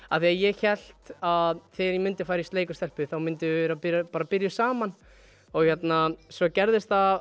að ég hélt að þegar ég færi í sleik við stelpu myndum við byrja við byrja saman svo gerðist